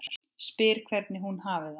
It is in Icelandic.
Spyr hvernig hún hafi það.